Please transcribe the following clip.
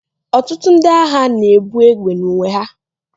ọtụtụ ndị agha na-ebu egbe n'uwe ha